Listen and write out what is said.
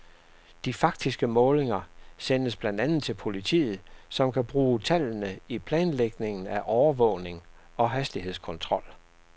De faktiske målinger sendes blandt andet til politiet, som kan bruge tallene i planlægningen af overvågning og hastighedskontrol.